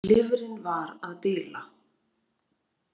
Lifrin var að bila.